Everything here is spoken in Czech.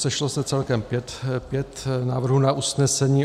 Sešlo se celkem pět návrhů na usnesení.